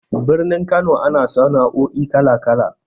Birnin Kano ana sana'o'i kala-kala.